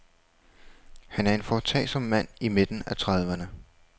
Han er en foretagsom mand i midten af trediverne.